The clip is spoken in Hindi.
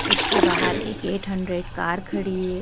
इसके बाहर एक एट हंड्रेड कार खड़ी है।